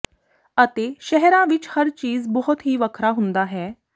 ਅਤੇ ਸ਼ਹਿਰਾਂ ਵਿੱਚ ਹਰ ਚੀਜ਼ ਬਹੁਤ ਹੀ ਵੱਖਰਾ ਹੁੰਦਾ ਹੈ